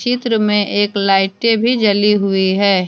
चित्र में एक लाइटे भी जली हुई है।